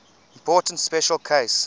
important special case